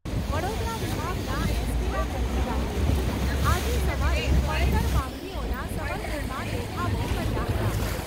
વડોદરા વિભાગના એસ.ટી.ના કર્મચારીઓએ આજે સવારે પડતર માંગણીઓના સમર્થનમાં દેખાવો કર્યા હતા.